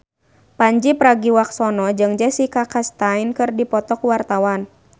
Pandji Pragiwaksono jeung Jessica Chastain keur dipoto ku wartawan